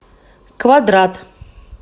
квадрат